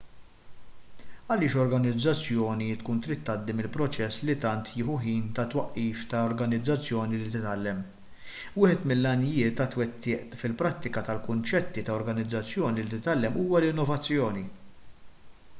għaliex organizzazzjoni tkun trid tgħaddi mill-proċess li tant jieħu ħin ta' twaqqif ta' organizzazzjoni li titgħallem wieħed mill-għanijiet għat-twettiq fil-prattika tal-kunċetti ta' organizzazzjoni li titgħallem huwa l-innovazzjoni